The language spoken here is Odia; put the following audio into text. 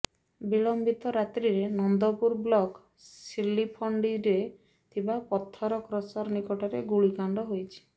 ବିଳମ୍ବିତ ରାତ୍ରିରେ ନନ୍ଦପୁର ବ୍ଲକ୍ ସିଲିଫଣ୍ଡିରେ ଥିବା ପଥର କ୍ରସର ନିକଟରେ ଗୁଳିକାଣ୍ଡ ହୋଇଛି